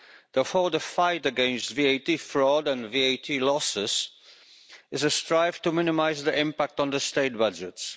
Therefore, the fight against VAT fraud and VAT losses is to strive to minimise the impact on state budgets.